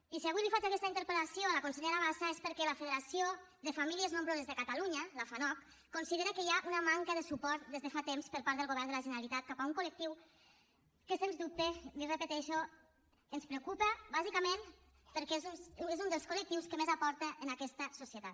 i si avui faig aquesta interpel·lació a la consellera bassa és perquè la federació de famílies nombroses de catalunya la fanoc considera que hi ha una manca de suport des de fa temps per part del govern de la generalitat cap a un col·lectiu que sens dubte l’hi repeteixo ens preocupa bàsicament perquè és un dels col·lectius que més aporta en aquesta societat